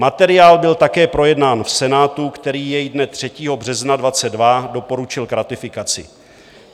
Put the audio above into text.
Materiál byl také projednán v Senátu, který jej dne 3. března 2022 doporučil k ratifikaci.